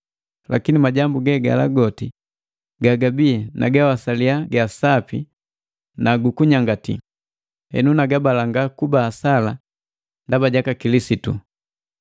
Lakini majambu ge gala goti gagabii nagawasalia gasapi na gukunyangati, henu nagabalanga kuba asala ndaba jaka Kilisitu.